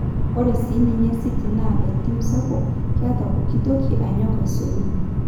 Ore sininye City na entim sapuk, Keta pokitoki anyok aisulu.